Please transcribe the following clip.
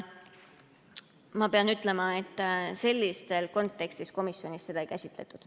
Ma pean ütlema, et sellises kontekstis seda komisjonis ei käsitletud.